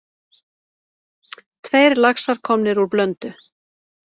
Tveir laxar komnir úr Blöndu